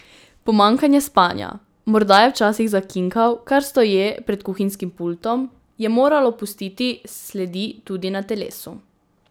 Pomanjkanje spanja, morda je včasih zakinkal kar stoje pred kuhinjskim pultom, je moralo pustiti sledi tudi na telesu.